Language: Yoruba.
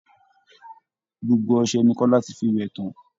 Gbogbo ọsẹ ni Kọ́lá ti fi wẹ̀ tán